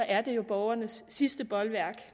er det jo borgernes sidste bolværk